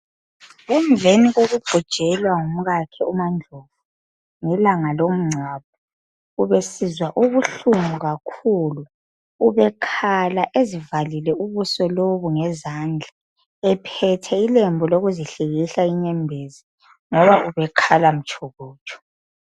Emveni kokubhujelwa ngumkakhe umaNdlovu, ngelanga lomncwabo, ubesizwa ubuhlungu kakhulu, ubekhala ezivalile ubuso lobu ngezandla. Ephethe ilembu lokuzihlikihla inyembezi ngoba ubekhala mtshokotsho.